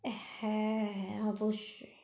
হ্যাঁ অবশ্যই।